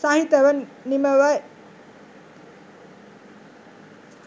සහිතව නිමවයි.